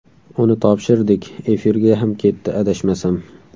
Uni topshirdik, efirga ham ketdi, adashmasam.